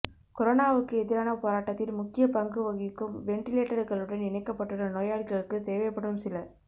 கொரோனாவுக்கு எதிரான போராட்டத்தில் முக்கிய பங்கு வகிக்கும் வெண்டிலேட்டர்களுடன் இணைக்கப்பட்டுள்ள நோயாளிகளுக்கு தேவைப்படும் சில